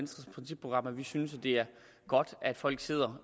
synes det er godt at folk sidder